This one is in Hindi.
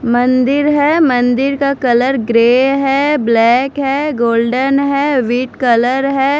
मंदिर है मंदिर का कलर ग्रे है ब्लैक है गोल्डन है वीट कलर है।